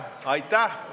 Aitäh!